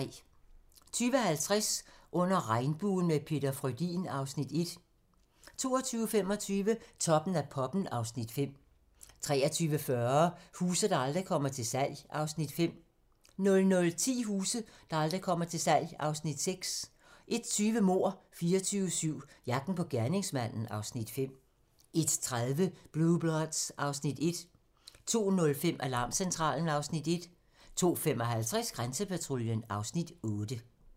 20:50: Under regnbuen – med Peter Frödin (Afs. 1) 22:25: Toppen af poppen (Afs. 5) 23:40: Huse, der aldrig kommer til salg (Afs. 5) 00:10: Huse, der aldrig kommer til salg (Afs. 6) 01:20: Mord 24/7 - jagten på gerningsmanden (Afs. 5) 01:30: Blue Bloods (Afs. 1) 02:05: Alarmcentralen (Afs. 1) 02:55: Grænsepatruljen (Afs. 8)